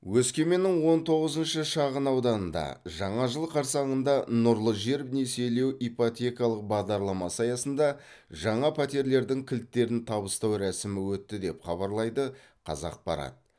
өскеменнің он тоғызыншы шағын ауданында жаңа жыл қарсаңында нұрлы жер несиелеу ипотекалық бағдарламасы аясында жаңа пәтерлердің кілттерін табыстау рәсімі өтті деп хабарлайды қазақпарат